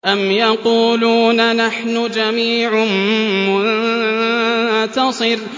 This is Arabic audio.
أَمْ يَقُولُونَ نَحْنُ جَمِيعٌ مُّنتَصِرٌ